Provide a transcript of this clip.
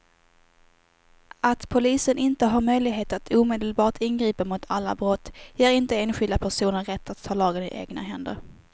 Att polisen inte har möjlighet att omedelbart ingripa mot alla brott ger inte enskilda personer rätt att ta lagen i egna händer.